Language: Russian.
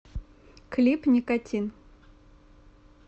клип никотин